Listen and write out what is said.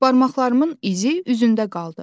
Barmaqlarımın izi üzündə qaldı.